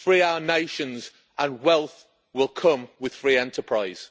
Free our nations, and wealth will come with free enterprise.